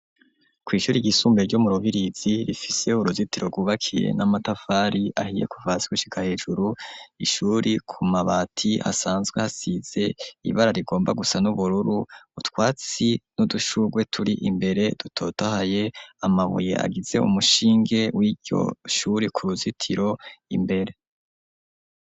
Kw'ishuri ryisumbe, ryo mu Rubirizi, rifise uruzitiro, rwubakiye n'amatafari ahiye, kuva hasi, gushika hejuru. Ishuri, ku mabati, hasanzwe hasize ibara rigomba gusa n'ubururu, utwatsi, n'udushurwe, turi imbere, dutotahaye; amabuye agize umushinge, w'iryo shuri; ku ruzitiro, imbere.